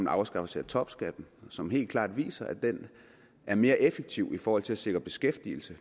afskaffelse af topskatten og som helt klart viser at det er mere effektivt i forhold til at sikre beskæftigelse